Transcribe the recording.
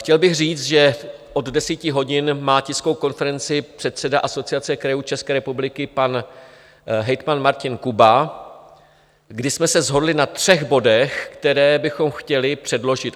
Chtěl bych říct, že od 10 hodin má tiskovou konferenci předseda Asociace krajů České republiky, pan hejtman Martin Kuba, kdy jsme se shodli na třech bodech, které bychom chtěli předložit.